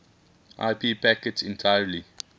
ip packets entirely